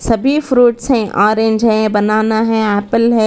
यहां भी फ्रूटस हैं ऑरेंज है बनाना है एप्पल है।